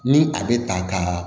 Ni a bɛ ta ka